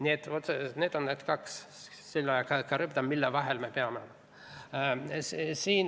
Nii et need on need kaks, Skylla ja Charybdis, mille vahel me peame toimetama.